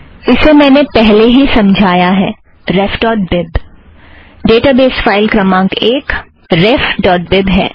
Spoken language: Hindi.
इसे मैंने पहले ही समझाया है ref dot bib database file क्रमांक एक रेफ़ ड़ॉट बीब है